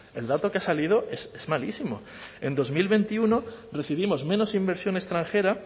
el dato que ha salido es malísimo en dos mil veintiuno recibimos menos inversión extranjera